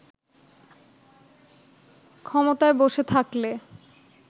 ক্ষমতায় বসে থাকলে